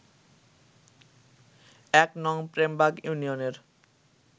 ১নং প্রেমবাগ ইউনিয়নের